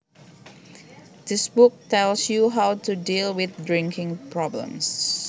This book tells you how to deal with drinking problems